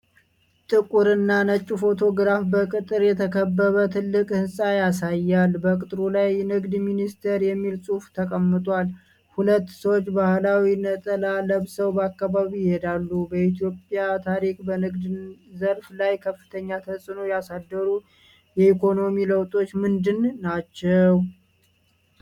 ጥቁር እና ነጭ ፎቶግራፍ በቅጥር የተከበበ ትልቅ ህንፃ ያሳያል። በቅጥሩ ላይ “ንግድ ሚኒስቴር” የሚል ጽሑፍ ተቀምጧል። ሁለት ሰዎች ባህላዊ ነጠላ ለብሰው በአካባቢው ይሄዳሉ። በኢትዮጵያ ታሪክ በንግድ ዘርፍ ላይ ከፍተኛ ተፅእኖ ያሳደሩ የኢኮኖሚ ለውጦች ምንድን ናቸው?